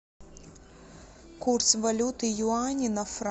курс валюты юани на франки